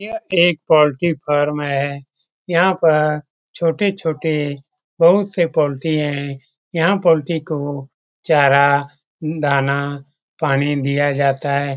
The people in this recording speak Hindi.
यह एक पोल्ट्री फॉर्म है | यहाँ पर छोटे छोटे बहुत से पोल्ट्री है यहाँ पोल्ट्री को चारा दाना पानी दिया जाता है ।